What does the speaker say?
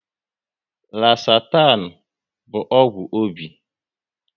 Losatan bụ ọgwụ obi